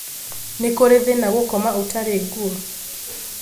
Nĩ kũri thĩna gũkoma ũtarĩ ngũo?